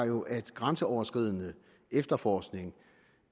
jo at grænseoverskridende efterforskning